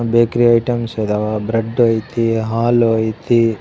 Bakery items ಇದಾವ bread ಐತಿ ಹಾಲು ಐತಿ.